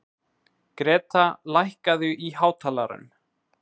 Greta, lækkaðu í hátalaranum.